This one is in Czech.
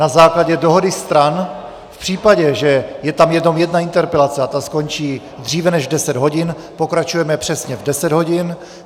Na základě dohody stran, v případě, že je tam jenom jedna interpelace a ta skončí dříve než v deset hodin, pokračujeme přesně v deset hodin.